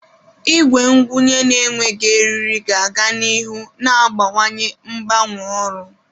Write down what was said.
Igwe ngwunye na-enweghị eriri ga-aga n'ihu na-abawanye mgbanwe ọrụ.